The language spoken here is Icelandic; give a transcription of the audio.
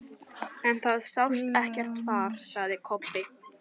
En það sást ekkert far, sagði Kobbi.